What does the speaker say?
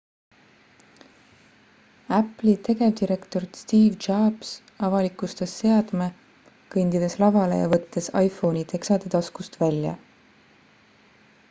apple'i tegevdirektor steve jobs avalikustas seadme kõndides lavale ja võttes iphone'i teksade taskust välja